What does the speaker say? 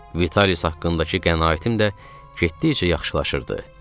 Vitalis haqqındakı qənaətim də getdikcə yaxşılaşırdı.